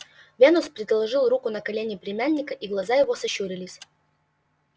венус предложил руку на колени племянника и глаза его сощурились